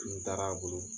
N taara a bolo